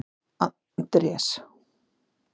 Andrés